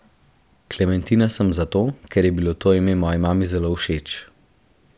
Klementina sem zato, ker je bilo to ime moji mami zelo všeč.